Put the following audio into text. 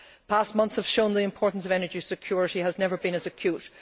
Past months have shown that the importance of energy security has never been as acute.